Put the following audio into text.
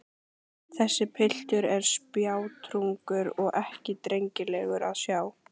Þessi piltur er spjátrungur og ekki drengilegur að sjá.